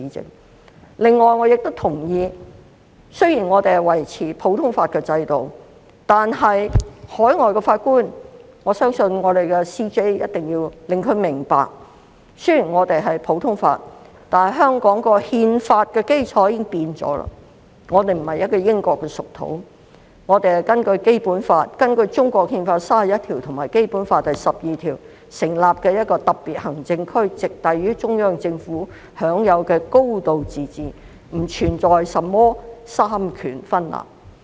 此外，我亦同意，雖然我們維持普通法制度，但我相信終審法院首席法官必須令海外法官明白，香港的憲法基礎已經改變了，香港並非英國屬土，香港是根據《中華人民共和國憲法》第三十一條及《基本法》第十二條成立的一個特別行政區，直轄於中央政府，享有"高度自治"，並不存在甚麼三權分立。